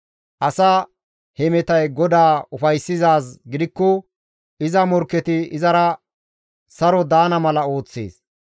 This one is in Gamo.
Asa hemetay GODAA ufayssizaaz gidikko iza morkketi izara saro daana mala ooththees.